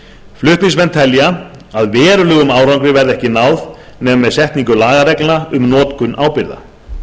flutningsmenn telja að verulegum árangri verði ekki náð nema með setningu lagareglna um notkun ábyrgða